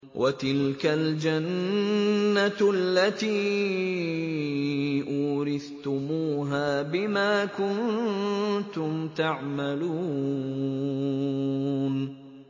وَتِلْكَ الْجَنَّةُ الَّتِي أُورِثْتُمُوهَا بِمَا كُنتُمْ تَعْمَلُونَ